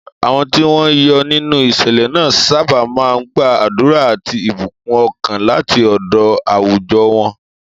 Àwọn tí wọ́n yọ nínú ìṣẹ̀lẹ̀ náà sábà máa ń gba àdúrà àti ìbùkún ọkàn láti ọ̀dọ̀ àwùjọ wọn.